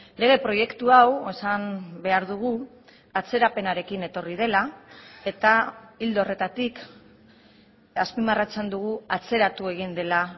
lege proiektu hau esan behar dugu atzerapenarekin etorri dela eta ildo horretatik azpimarratzen dugu atzeratu egin dela